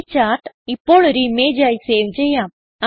ഈ ചാർട്ട് ഇപ്പോൾ ഒരു ഇമേജ് ആയി സേവ് ചെയ്യാം